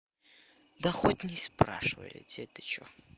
да хоть не спрашивайте это что